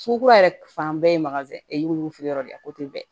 Sugu kura yɛrɛ fan bɛɛ ye wufeere yɔrɔ de ye o tɛ bɛn